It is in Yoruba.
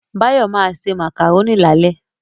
Báyọ̀ ma se Màkàrónì lálẹ́